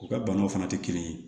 U ka banaw fana tɛ kelen ye